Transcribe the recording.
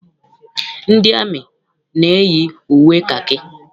Ndị amị na-eyi uwe kakị.